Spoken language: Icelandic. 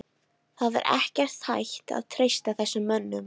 Það er ekkert hægt að treysta þessum mönnum.